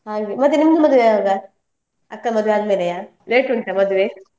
ಮತ್ತೆ ನಿಮ್ದು ಮದ್ವೆ ಯಾವಾಗ? ಅಕ್ಕ ಮದುವೆ ಆದ್ಮೇಲೆಯಾ late ಉಂಟಾ ಮದ್ವೆ?